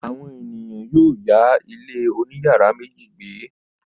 Àwọn ènìyàn yóò yá ilé oníyàrá méjì gbé.